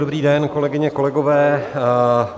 Dobrý den, kolegyně, kolegové.